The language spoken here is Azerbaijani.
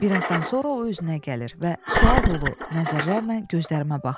Birazdan sonra o özünə gəlir və sual dolu nəzərlərlə gözlərimə baxır.